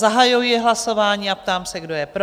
Zahajuji hlasování a ptám se, kdo je pro?